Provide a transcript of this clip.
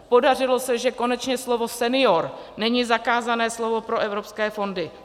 Podařilo se, že konečně slovo senior není zakázané slovo pro evropské fondy.